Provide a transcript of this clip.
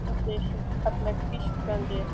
Heyrði hún nafnið sitt kallað hvískrandi